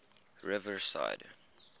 riverside